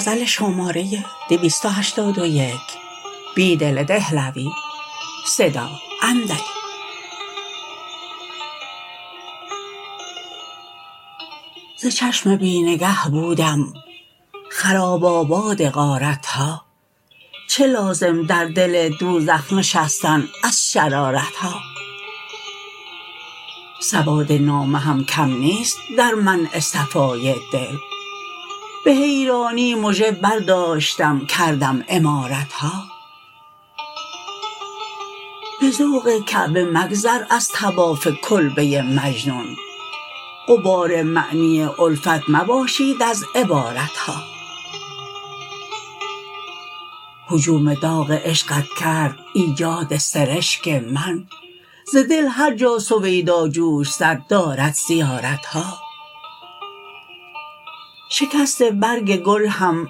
ز چشم بی نگه بودم خراب آباد غارتها چه لازم در دل دوزخ نشستن از شرارتها سوادنامه هم کم نیست در منع صفای دل به حیرانی مژه برداشتم کردم عمارتها به ذوق کعبه مگذر ازطواف کلبه مجنون غبار معنی الفت مباشید از عبارتها هجوم داغ عشقت کرد ایجاد سرشک من زدل هرجا سویدا جوش زد دارد زیارتها شکست برگ گل هم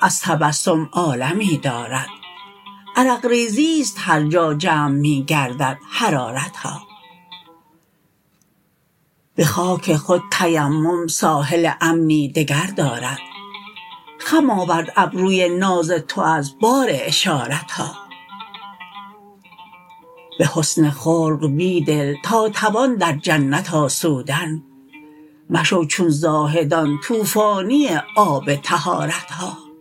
ازتبسم عالمی دارد عرقریزی ست هرجاجمع می گرددحرارتها به خاک خود تیمم ساحل امنی دگردارد خم آورد ابروی ناز تو از بار اشارتها به حسن خلق بیدل تا توان در جنت آسودن مشو چون زاهدان توفانی آب طهارتها